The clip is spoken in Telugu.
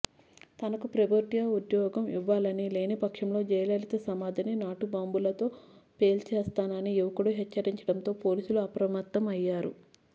తనకు ప్రభుత్వ ఉద్యోగం ఇవ్వాలని లేనిపక్షంలో జయలలిత సమాధిని నాటుబాంబులతో పేల్చేస్తానని యువకుడు హెచ్చరించడంతో పోలీసులు అప్రమత్తం అయ్యారు